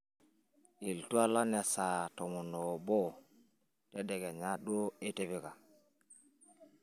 iltualan lesaa tomon oobo tedekenya duoitipika